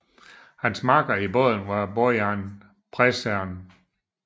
Hans makker i båden var Bojan Prešern